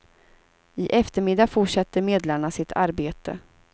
I eftermiddag fortsätter medlarna sitt arbete.